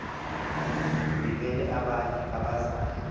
ndimele abanye abazali